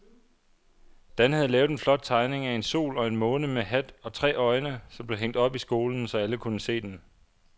Dan havde lavet en flot tegning af en sol og en måne med hat og tre øjne, som blev hængt op i skolen, så alle kunne se den.